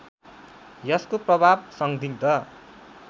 यसको प्रभाव संदिग्ध